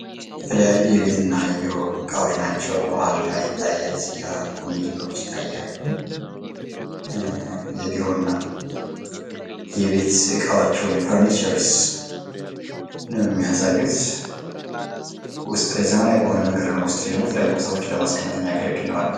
የተለያዩ የቤትና የቢሮ ዕቃዎች ናቸው። አልጋ ይታያል፣ ኮመዲኖ ይታያሉ። የቤት እና የቢሮ እቃዎች ወይም ፈርኒቸርስ ነው የሚያሳዩት ።ውስጥ ላይ በዘመናዊ መንገድ ነው ወይም ደግሞ የተለያዩ ቁሳቁሶችን ለማስቀመጥ ሚያገለግል ነው አልጋው።